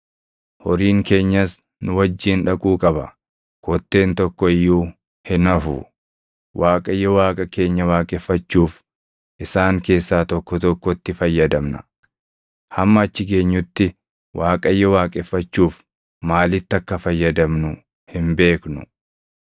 Horiin keenyas nu wajjin dhaquu qaba; kotteen tokko iyyuu hin hafu. Waaqayyo Waaqa keenya waaqeffachuuf isaan keessaa tokko tokkotti fayyadamna; hamma achi geenyutti Waaqayyo waaqeffachuuf maalitti akka fayyadamnu hin beeknu.”